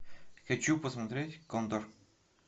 хочу посмотреть кондор